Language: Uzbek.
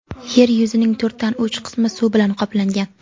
Yer yuzining to‘rtdan uch qismi suv bilan qoplangan.